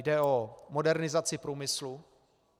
Jde o modernizaci průmyslu.